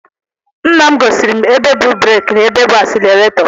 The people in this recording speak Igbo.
Nnam gosiri m ebe bụ breeki na ebe bụ asileretọ